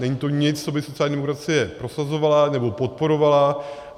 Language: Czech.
Není to nic, co by sociální demokracie prosazovala nebo podporovala.